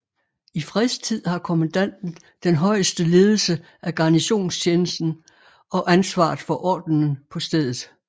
I fredstid har kommandanten den højeste ledelse af garnisonstjenesten og ansvaret for ordenen på stedet